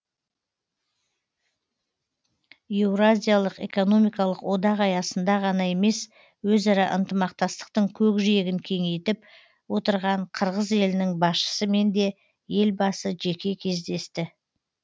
еуразиялық экономикалық одақ аясында ғана емес өзара ынтамақтастықтың көкжиегін кеңейтіп отырған қырғыз елінің басшысымен де елбасы жеке кездесті